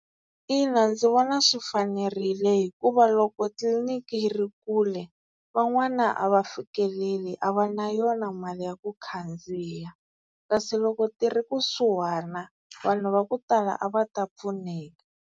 Ina ndzi vona swi fanerile hikuva loko tliliniki yi ri kule van'wana a va fikeleli a va na yona mali ya ku khandziya. Kasi loko ti ri kusuhana vanhu va ku tala a va ta pfuneka.